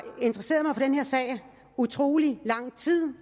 interesseret mig for den her sag i utrolig lang tid